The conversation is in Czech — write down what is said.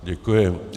Děkuji.